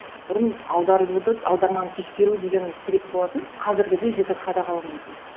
бұрын аударуды аударманы тексеру деген сирек болатын қазіргідей жіті қадағаланбайтын